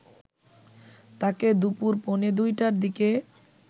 তাকে দুপুর পৌনে ২ টার দিকে